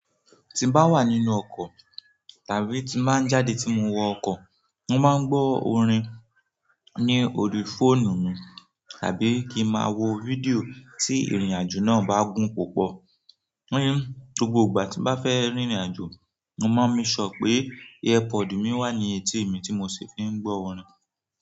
Tí n bá wà nínú ọkọ̀ tàbí tí n ba n jáde tí mo wọ ọkọ̀, mo máa ń gbọ́ orin ní orí fóònù mi tàbí kí n máa wo fídíò tí ìrìnàjò náà bá gùn púpọ̀. Gbogbo ìgbà tí n bá fẹ́ rìnrìn àjò, mo maa n make sure pé earpodù mi wà ní etí mi tí mo sì fi ń gbọ́ orin.